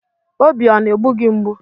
Obi ọ na-egbu gị mgbụ?